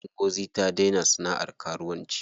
Ngozi ta daina sana'ar karuwanci.